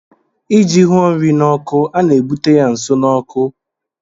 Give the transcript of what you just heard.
ịji hụo nri n' oku a na-ebute ya nso na ọkụ